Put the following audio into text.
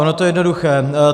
Ono to je jednoduché.